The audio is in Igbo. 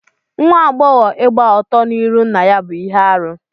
Nwa agbọghọ ịgba ọtọ n'irụ nna ya bú ihe arụ.